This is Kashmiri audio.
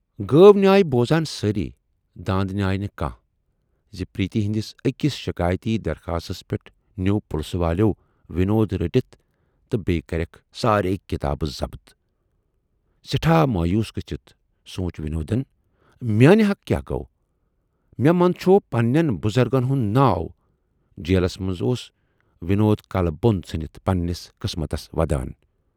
گٲو نیاے بوزان سٲری داندٕ نیاے نہٕ کانہہ زِ پریتی ہٕندِس ٲکِس شِکایتی درخاستَس پٮ۪ٹھ نیوٗ پُلسہٕ والٮ۪و وِنود رٔٹِتھ تہٕ بییہِ کرٮ۪کھ ساریے کِتابہٕ ضبط۔ سٮ۪ٹھاہ مویوٗس گٔژھِتھ سوٗنچ وِنودن میانہِ حقہٕ کیاہ گوو، مےٚ مندچھوو پنہٕ نٮ۪ن بُزرگن ہُند ناو جیلس منز اوس وِنود کلہٕ بۅن ژھُنِتھ پنہٕ نِس قٕسمتس ودان۔